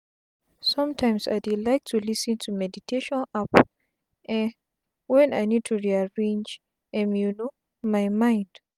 somtimes i dey like to lis ten to meditation app um wen i need to rearrange um my mind